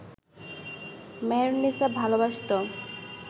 Meherunnisa ভালবাসত